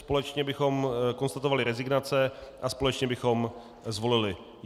Společně bychom konstatovali rezignace a společně bychom zvolili.